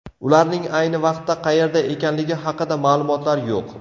Ularning ayni vaqtda qayerda ekanligi haqida ma’lumotlar yo‘q.